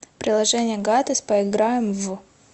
приложение гатес поиграем в